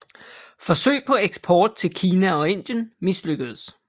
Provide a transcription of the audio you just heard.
Forsøg på eksport til Kina og Indien mislykkedes